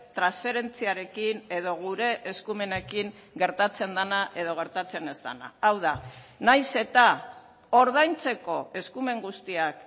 transferentziarekin edo gure eskumenekin gertatzen dena edo gertatzen ez dena hau da nahiz eta ordaintzeko eskumen guztiak